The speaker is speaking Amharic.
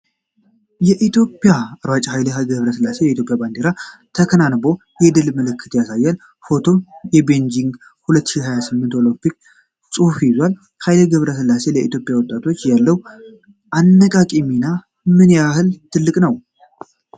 ኢትዮጵያዊው ሯጭ ኃይሌ ገብረሥላሴ የኢትዮጵያን ባንዲራ ተከናንቦ የድል ምልክት ያሳያል። ፎቶው የቤጂንግ 2008 ኦሎምፒክ ጽሑፍን ይዟል። ኃይሌ ገብረሥላሴ ለኢትዮጵያ ወጣቶች ያለው አነቃቂ ሚና ምን ያህል ትልቅ ነው?